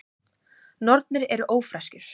Nornir eru ófreskjur.